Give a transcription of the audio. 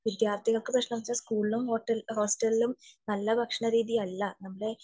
വിദ്യാർത്ഥികൾക്ക് സ്കൂളിലും ഹോസ്റ്റലിലും നല്ല ഭക്ഷണ രീതിയല്ല